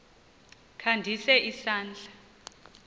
kha ndise isandla